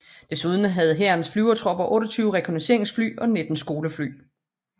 Desuden havde Hærens Flyvertropper 28 rekognosceringsfly og 19 skolefly